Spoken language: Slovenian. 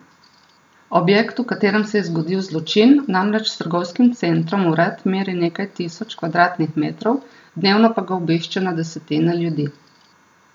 Objekt, v katerem se je zgodil zločin, namreč s trgovskim centrom vred meri nekaj tisoč kvadratnih metrov, dnevno pa ga obišče na desetine ljudi.